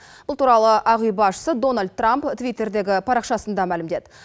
бұл туралы ақ үй басшысы дональд трамп твиттердегі парақшасында мәлімдеді